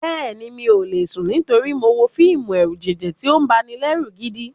Bẹ́ẹ̀ni, mi ò lè sùn nítorí mo wo fíìmù ẹ̀rùjẹ̀jẹ̀ tí ó banilẹ́rù gidi.